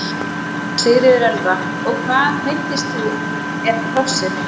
Sigríður Elva: Og hvað, meiddist þú eða hrossið?